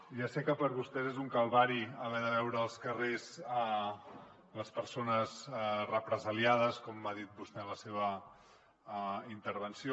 ja sé que per a vostès és un calvari haver de veure als carrers les persones represaliades com ha dit vostè en la seva intervenció